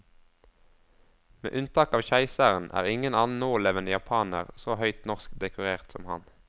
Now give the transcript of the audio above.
Med unntak av keiseren er ingen annen nålevende japaner så høyt norsk dekorert som ham.